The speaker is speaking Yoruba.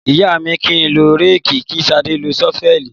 Ìyá mi ni kín ló rẹki kí ṣàdẹ́ ló sọfẹli